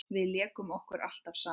Við lékum okkur alltaf saman.